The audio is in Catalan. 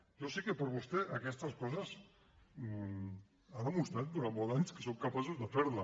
jo sé que per vostè aquestes coses han demostrat durant molts anys que són capaços de fer les